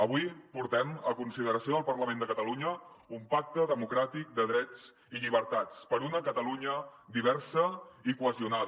avui portem a consideració del parlament de catalunya un pacte democràtic de drets i llibertats per una catalunya diversa i cohesionada